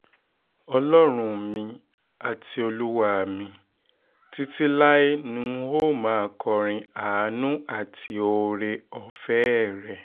ọlọ́run mi àti olúwa mi títí láé ni n óò máa kọrin àánú àti oore-ọ̀fẹ́ oore-ọ̀fẹ́ rẹ̀